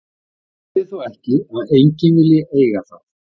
Það þýðir þó ekki að enginn vilji eiga það.